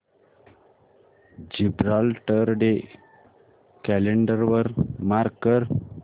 Gibraltar day calendar वर mark कर